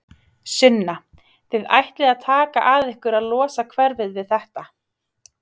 Sunna: Þið ætlið að taka að ykkur að losa hverfið við þetta?